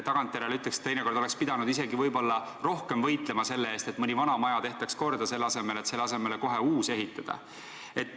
Tagantjärele ütleks, et teinekord oleks pidanud isegi võib-olla rohkem võitlema selle eest, et mõni vana maja tehtaks korda, selle asemel et selle asemele kohe uus ehitada.